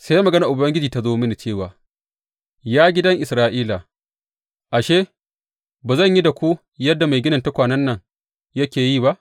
Sai maganar Ubangiji ta zo mini cewa, Ya gidan Isra’ila, ashe, ba zan yi da ku yadda mai ginin tukwanen nan yake yi ba?